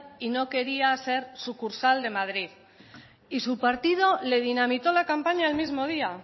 y no quería ser sucursal de madrid y su partido le dinamitó la campaña el mismo día